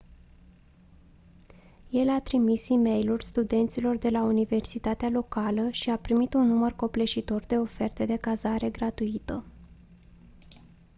el a trimis e-mailuri studenților de la universitatea locală și a primit un număr copleșitor de oferte de cazare gratuită